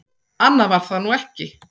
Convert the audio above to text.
Annað var það nú ekki.